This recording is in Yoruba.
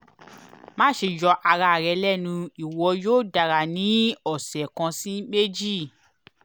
maṣe yọ ara rẹ lẹnu iwọ yoo dara ni ọsẹ kan si meji